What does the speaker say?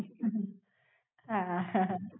હમ હા.